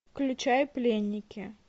включай пленники